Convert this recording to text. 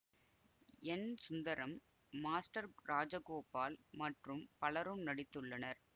என் Sundaram master Rajagopal மற்றும் பலரும் நடித்துள்ளனர்